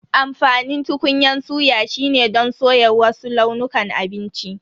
Amfanin tukunyan suya shine don soya wasu launukan abinci.